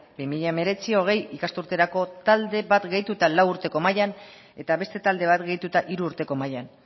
bi mila hemeretzi bi mila hogei ikasturterako talde bat gehitu eta lau urteko mailan eta beste talde bat gehituta hiru urteko mailan